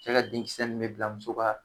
Cɛ ka denkisɛ min bɛ bila muso ka